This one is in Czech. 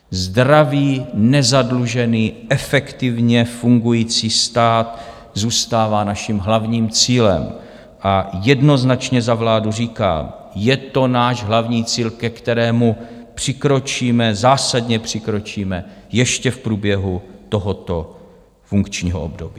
Zdravý, nezadlužený, efektivně fungující stát zůstává naším hlavním cílem a jednoznačně za vládu říkám: je to náš hlavní cíl, ke kterému přikročíme, zásadně přikročíme ještě v průběhu tohoto funkčního období.